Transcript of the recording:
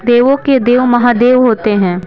देवों के देव महादेव होते हैं।